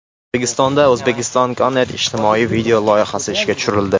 O‘zbekistonda Uzbekistan Connect ijtimoiy video loyihasi ishga tushirildi.